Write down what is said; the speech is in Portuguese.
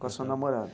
Com a sua namorada?